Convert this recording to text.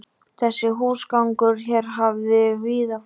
Þessi húsgangur hér hafði víða farið